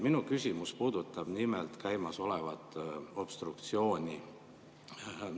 Minu küsimus puudutab nimelt käimasolevat obstruktsiooni.